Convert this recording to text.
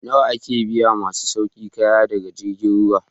Nawa ake biyan masu sauke kaya daga jirgin ruwa?